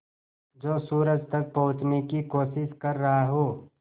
जो सूरज तक पहुँचने की कोशिश कर रहा हो